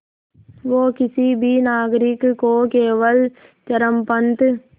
वो किसी भी नागरिक को केवल चरमपंथ